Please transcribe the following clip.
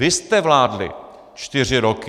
Vy jste vládli čtyři roky.